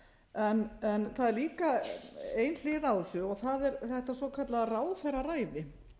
ásamt fleirum það er líka ein hlið á þessu og það er þetta svokallaða ráðherraræði